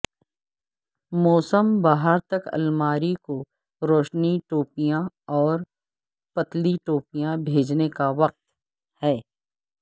موسم بہار تک الماری کو روشنی ٹوپیاں اور پتلی ٹوپیاں بھیجنے کا وقت ہے